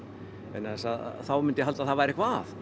vegna þess að þá myndi ég halda að það væri eitthvað að